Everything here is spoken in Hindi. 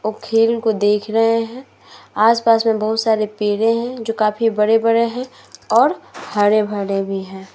और खेल को देख रहे हैं। आस-पास में बहोत सारे पेड़ हैं जो काफी बड़े-बड़े हैं और काफी हरे-भरे भी हैं।